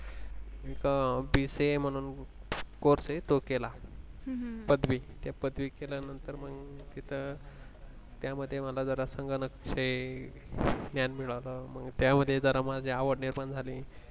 तिथ BCA म्हनुन course अहे तो केला अह पदवि, ते पदवि केल्यानंतर मग तिथं त्यामधे मला जरा संगणक च ज्ञान मिळाल त्यामध्ये जरा माझी आवड निर्माण झाली